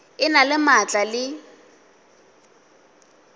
e na le maatla le